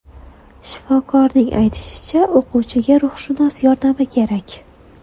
Shifokorning aytishicha, o‘quvchiga ruhshunos yordami kerak.